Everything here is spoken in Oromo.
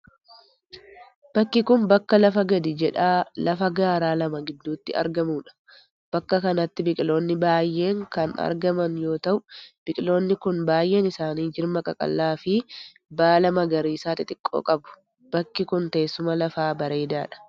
Bakki kun, bakka lafa gadi jedhaa lafa gaaraa lama gidduutti argamuu dha. Bakka kanatti, biqiloonni baay'een kan argaman yoo ta'u, biqiloonni kun baay'een isaanii jirma qaqallaa fi baala magariisaa xixiqoo qabu. Bakki kun, teessuma lafaa bareedaa dha.